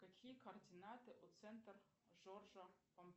какие координаты у центр жоржа